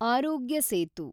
ಆರೋಗ್ಯ ಸೇತು